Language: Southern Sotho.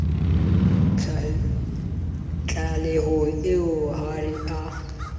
tlalehong eo ha re a